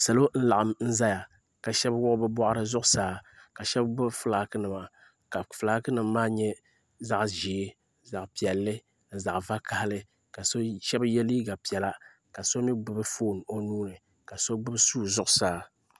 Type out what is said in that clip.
Salo n-laɣim zaya ka shɛba wuɣi bɛ bɔɣiri zuɣusaa ka shɛba gbubi fulaakinima ka fulaakinima maa nyɛ zaɣ'ʒee zaɣ'piɛlli ni zaɣ'vakahili ka shɛba ye liiga piɛla ka so mi gbubi foon o nuu ni ka so gbubi sua zuɣusaa.